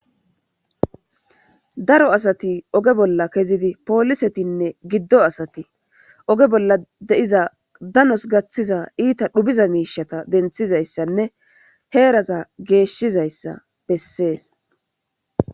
daro asati oge bolla kezidi poolisetinne giddo asati oge bolla de7iza danos gaththiza iita dhubiza miishata denthizayssanne heeraza geeshshizayssa bessees